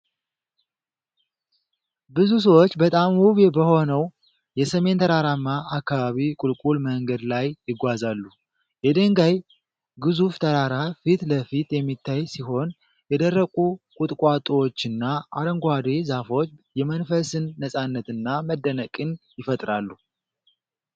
ብዙ ሰዎች በጣም ውብ በሆነው የሰሜን ተራራማ አካባቢ ቁልቁል መንገድ ላይ ይጓዛሉ። የድንጋይ ግዙፍ ተራራ ፊት ለፊት የሚታይ ሲሆን፣ የደረቁ ቁጥቋጦዎችና አረንጓዴ ዛፎች የመንፈስን ነጻነትና መደነቅን ይፈጥራሉ።